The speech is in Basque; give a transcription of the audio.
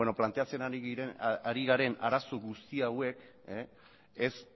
planteatzen ari garen arazo guzti hauek